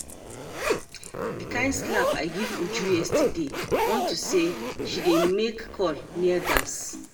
The kin slap I give Uju yesterday unto say she dey make call near gas